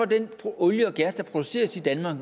den olie og gas der produceres i danmark